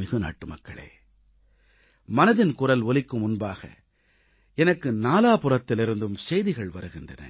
என் பாசமிகு நாட்டுமக்களே மனதின் குரல் ஒலிக்கும் முன்பாக எனக்கு நாலாபுறத்திலிருந்தும் செய்திகள் வருகின்றன